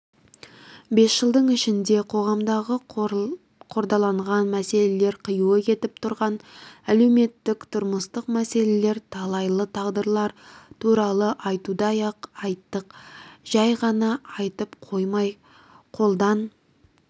бес жылдың ішінде қоғамдағы қордаланған мәселелер қиюы кетіп тұрған әлеуметтік-тұрмыстық мәселелер талайлы тағдырлар туралы айтудай-ақ қайттық жәй ғана айтып қоймай қолдан